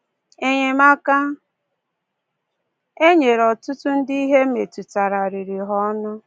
Enyemaka e nyere ọtụtụ ndị ihe metụtara riri ha ọnụ.